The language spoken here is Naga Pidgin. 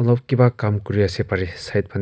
olob kiba kam kuri ase parae side pane.